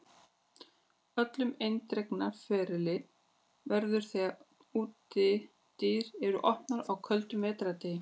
Öllu eindregnara ferli verður þegar útidyr eru opnaðar á köldum vetrardegi.